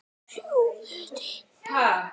Ari glotti.